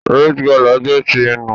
Rite Gala jẹ ti nhu.